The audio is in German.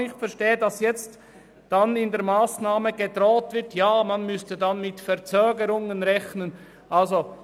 Ich verstehe auch nicht, weshalb damit gedroht wird, dass man mit Verzögerungen rechnen müsse.